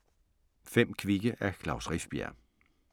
5 kvikke af Klaus Rifbjerg